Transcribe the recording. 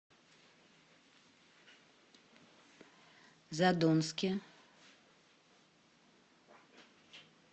задонске